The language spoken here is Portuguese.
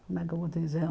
Como é que eu vou te dizer?